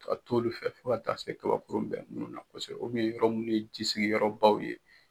Ka t'olu fɛ fo ka taa se kabakuru bɛ minnu na kosɛbɛ yɔrɔ minnu ye jisigi yɔrɔ baw ye.